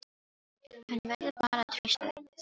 Hann verður bara að treysta því.